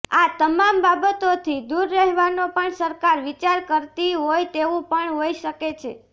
આ તમામ બાબતોથી દુર રહેવાનો પણ સરકાર વિચાર કરતી હોય તેવુ પણ હોઈ શકે છે